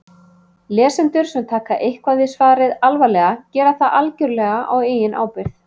Lesendur sem taka eitthvað við svarið alvarlega gera það algjörlega á eigin ábyrgð.